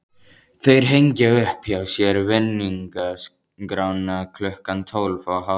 Þeir hengja upp hjá sér vinningaskrána klukkan tólf á hádegi.